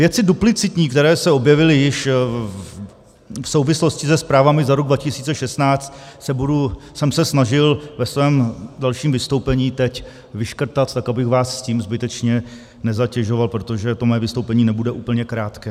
Věci duplicitní, které se objevily již v souvislosti se zprávami za rok 2016 jsem se snažil ve svém dalším vystoupení teď vyškrtat, tak abych vás s tím zbytečně nezatěžoval, protože to moje vystoupení nebude úplně krátké.